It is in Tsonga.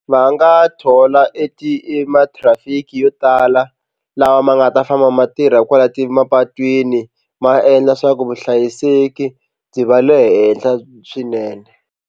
Va nga thola e ti e ma-traffic yo tala lawa ma nga ta famba ma tirha kwala ti mapatwini ma endla swa ku vuhlayiseki byi va le henhla swinene.